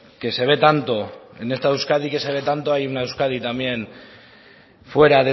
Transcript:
que se ve tanto en esta euskadi que se ve tanto hay una euskadi también fuera